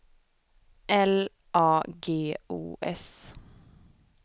L A G O S